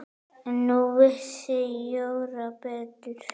En nú vissi Jóra betur.